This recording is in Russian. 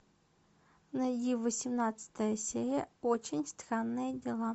найди восемнадцатая серия очень странные дела